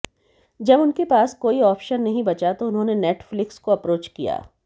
जब उनके पास कोई ऑप्शन नहीं बचा तो उन्होंने नेटफ्लिक्स को अप्रोच किया